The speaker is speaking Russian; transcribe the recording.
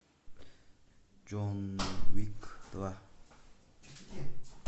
джон уик два